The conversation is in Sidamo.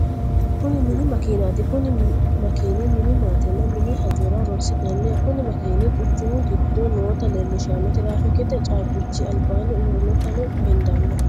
Kuni mini makiinatti kuni makkini mini maatenna mini hajorra horonsiranno kuni makinino quchumu gido noota leelishano, tiraafikete caabichi alibanni uurinotano hendanni